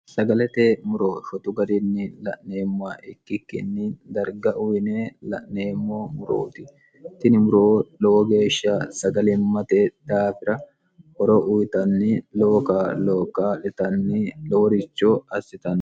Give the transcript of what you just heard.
sagalete muro fotu garinni la'neemma ikkikkinni darga uyine la'neemmo murooti tini muroo lowo geeshsha sagalimmate daafira horo uyitanni looka looka litanni loworicho assitanni